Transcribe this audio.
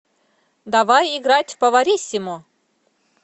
давай играть в повариссимо